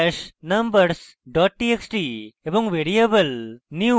এবং variable new underscore vector এ সংরক্ষণ করে